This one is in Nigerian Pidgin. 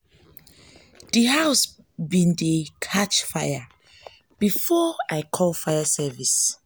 d house bin dey bin dey catch fire before i call fire service.